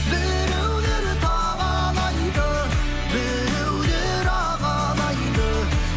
біреулер табалайды біреулер алалайды